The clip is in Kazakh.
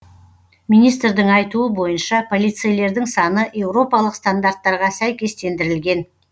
министрдің айтуы бойынша полицейлердің саны еуропалық стандарттарға сәйкестендірілген